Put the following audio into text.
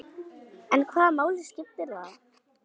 En hvaða máli skiptir það?